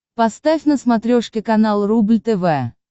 поставь на смотрешке канал рубль тв